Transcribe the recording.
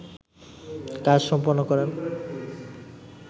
কাজ সম্পন্ন করেন